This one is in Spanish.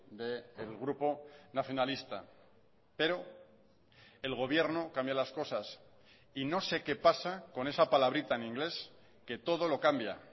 del grupo nacionalista pero el gobierno cambia las cosas y no sé qué pasa con esa palabrita en inglés que todo lo cambia